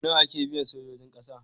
Nawa ake biyan sojojin ƙasa?